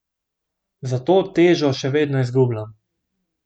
Zato težo še vedno izgubljam.